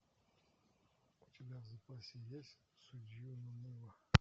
у тебя в запасе есть судью на мыло